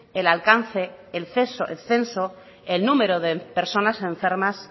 el alcance el censo el número de personas enfermas